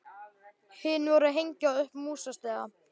Hin voru að hengja upp músastiga.